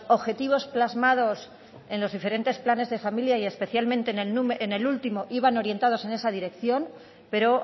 objetivos plasmados en los diferentes planes de familia y especialmente en el último iban orientados en esa dirección pero